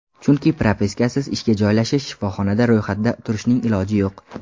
Chunki propiskasiz ishga joylashish, shifoxonada ro‘yxatda turishning iloji yo‘q.